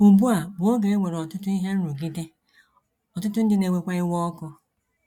Ugbu a bụ oge e nwere ọtụtụ ihe nrụgide, ọtụtụ ndị na - ewekwa iwe ọkụ.